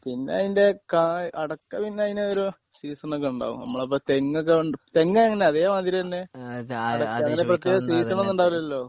പിന്നെ അതിൻ്റെ കാ അടക്ക പിന്നെ അയിനൊരു സീസണൊക്കെ ഉണ്ടാവും നമ്മള് അപ്പോ തെങ്ങൊക്കെ ഒണ്ട് തെങ്ങ് എങ്ങനെയാ അറിയുമോ അതേമാതിരി തന്നെ അതിന് പ്രത്യേക സീസൺ ഒന്നും ഉണ്ടാകില്ലല്ലോ